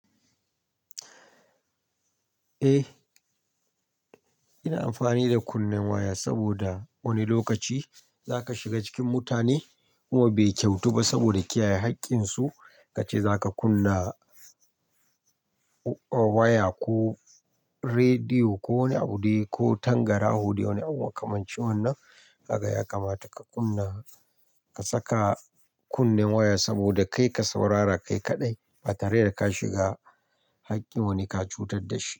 Eh, ina amfani da kunnen waya saboda wani lokaci zaka shiga cikin mutane kuma bai kyautu ba saboda kiyaye haƙƙinsu kace zaka kunna waya ko rediyo ko wani abude ko tangarawu dai ko wani abu makamancin wannan. Kaga yakamata ka kunna, ka saka kunnen waya saboda kai ka saurara kai kaɗai ba tare da ka shiga haƙƙin wani ka cutar da shi.